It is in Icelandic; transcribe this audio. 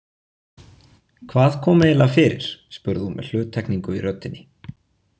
Hvað kom eiginlega fyrir spurði hún með hluttekningu í röddinni.